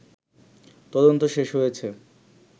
তদন্ত শেষ হয়েছে